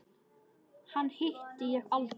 Hana hitti ég aldrei.